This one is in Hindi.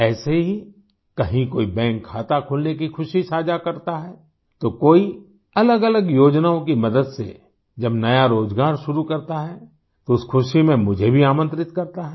ऐसे ही कहीं कोई बैंक खाता खुलने की खुशी साझा करता है तो कोई अलगअलग योजनाओं की मदद से जब नया रोज़गार शुरू करता है तो उस खुशी में मुझे भी आमंत्रित करता है